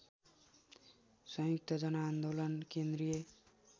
संयुक्त जनआन्दोलन केन्द्रीय